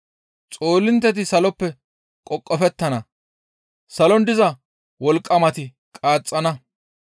Xoolintteti saloppe qoqofettana, salon diza wolqqamati qaaxxana.